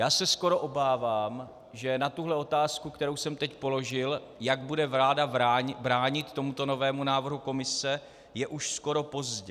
Já se skoro obávám, že na tuhle otázku, kterou jsem teď položil, jak bude vláda bránit tomuto novému návrhu Komise, je už skoro pozdě.